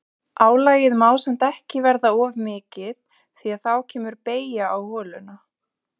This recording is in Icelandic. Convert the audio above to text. Álagið má samt ekki verða of mikið því að þá kemur beygja á holuna.